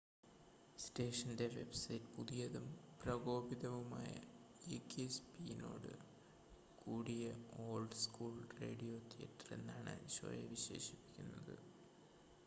"സ്റ്റേഷന്റെ വെബ്സൈറ്റ് "പുതിയതും പ്രകോപിതവുമായ ഗീക്കി സ്‌പിന്നോട് കൂടിയ ഓൾഡ് സ്കൂൾ റേഡിയോ തിയേറ്റർ" എന്നാണ് ഷോയെ വിശേഷിപ്പിക്കുന്നത്‌.